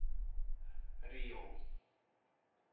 Ríó